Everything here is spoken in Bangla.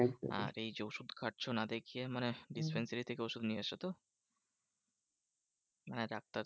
আর এই যে ওষুধ খাচ্ছো না দেখিয়ে মানে dispensary থেকে ওষুধ নিয়ে এসে তো? হ্যাঁ ডাক্তার